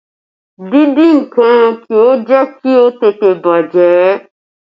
Díndín nǹkan kì í jẹ́ kí ó tètè bàjẹ́